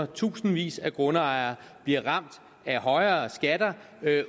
tusindvis af grundejere bliver ramt af højere skatter